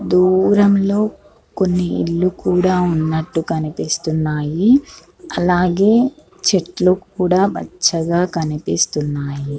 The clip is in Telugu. దూరం లో కొన్ని ఇల్లు కూడా ఉన్నట్టు కనిపిస్తున్నాయి. అలాగే చెట్లు కూడా పచ్చగా కనిపిస్తున్నాయి.